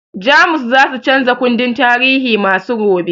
Jamus zasu chanza kundin tarihi nasu gobe